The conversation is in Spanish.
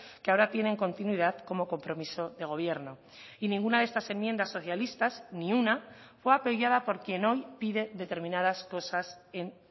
que ahora tienen continuidad como compromiso de gobierno y ninguna de estas enmiendas socialistas ni una fue apoyada por quien hoy pide determinadas cosas en